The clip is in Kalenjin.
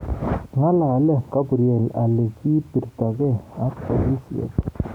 Ng'alalee Gaburiel alikiibirtogei ak polisiek